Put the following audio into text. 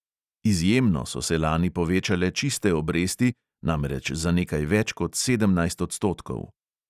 Izjemno so se lani povečale čiste obresti, namreč za nekaj več kot sedemnajst odstotkov.